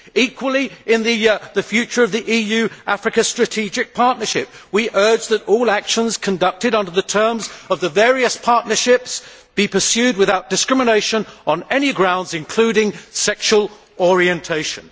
Equally, in the future of the EU Africa Strategic Partnership, we urge that all actions conducted under the terms of the various partnerships be pursued without discrimination on any grounds, including sexual orientation.